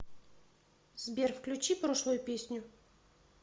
сбер включи прошлую песню